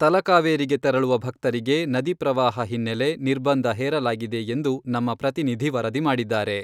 ತಲಕಾವೇರಿಗೆ ತೆರಳುವ ಭಕ್ತರಿಗೆ ನದಿ ಪ್ರವಾಹ ಹಿನ್ನೆಲೆ ನಿರ್ಬಂಧ ಹೇರಲಾಗಿದೆ ಎಂದು ನಮ್ಮ ಪ್ರತಿನಿಧಿ ವರದಿ ಮಾಡಿದ್ದಾರೆ.